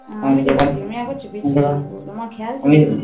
উম আমি একবার চেপেছিলাম আমার খেয়াল ছিলোনা